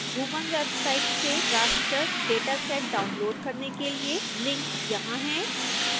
bhuvan website से raster dataset download करने के लिए लिंक यहां है